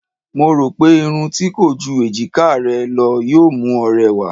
Mo rò pé irun tí kò ju èjiká rẹ lọ yóò mú ọ rẹwà.